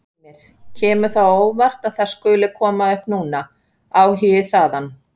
Heimir: Kemur það á óvart að það skuli koma upp núna, áhugi þaðan?